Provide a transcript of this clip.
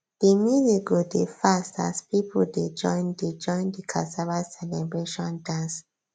the music go dey fast as people dey join the join the cassava celebration dance